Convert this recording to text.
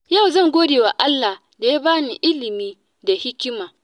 Yau zan godewa Allah da ya bani ilimi da hikima.